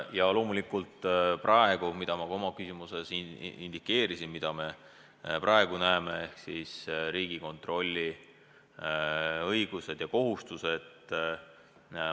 Ja praegu siis on kõne all teema, mida ma ka oma küsimuses indikeerisin: see on Riigikontrolli õigused ja kohustused.